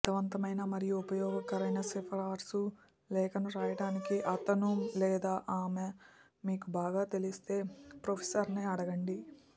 ఒక అర్ధవంతమైన మరియు ఉపయోగకరమైన సిఫారసు లేఖను వ్రాయడానికి అతను లేదా ఆమె మీకు బాగా తెలిస్తే ప్రొఫెసర్ని అడగండి